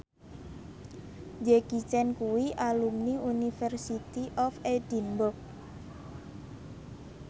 Jackie Chan kuwi alumni University of Edinburgh